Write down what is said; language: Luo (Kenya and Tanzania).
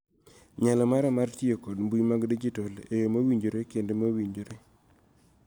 Nyalo mara mar tiyo kod mbui mag tudruok e yoo mowinjore kendo mowinjore